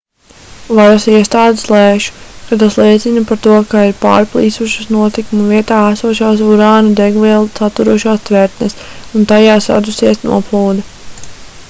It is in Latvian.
varasiestādes lēš ka tas liecina par to ka ir pārplīsušas notikuma vietā esošās urāna degvielu saturošās tvertnes un tajās radusies noplūde